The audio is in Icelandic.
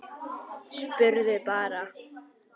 Spurði bara.